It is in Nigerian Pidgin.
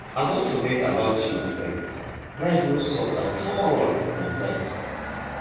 i don forget about you my friend life no soft at all for my side